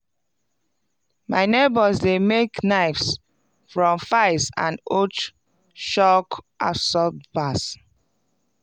my neighbours dey make knives from files and old shock absorbers.